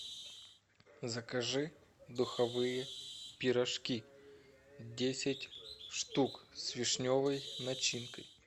закажи духовые пирожки десять штук с вишневой начинкой